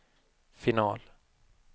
final